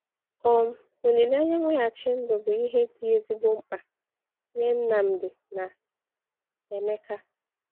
um Olileanya mweghachi ndụ bụ ihe dị ezigbo mkpa nye Nnamdi na Emeka.